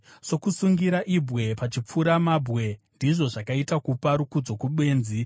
Sokusungira ibwe pachipfuramabwe ndizvo zvakaita kupa rukudzo kubenzi.